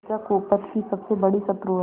लज्जा कुपथ की सबसे बड़ी शत्रु है